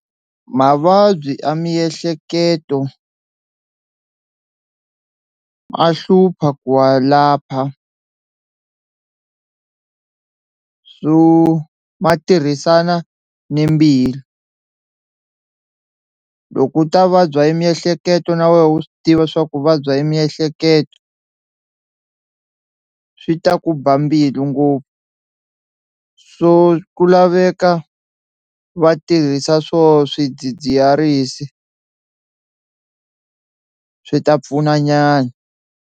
Mavabyi ya miehleketo a hlupha ku wa lapha so ma tirhisana ni mbilu loko u ta vabya hi miehleketo na wehe u swi tiva swa ku u vabya hi miehleketo swi ta ku ba mbilu ngopfu so ku laveka va tirhisa swo swidzidziharisi swi ta pfuna nyana.